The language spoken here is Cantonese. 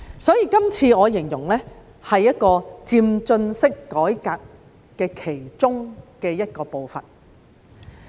所以，這次我形容是漸進式改革的其中一部分。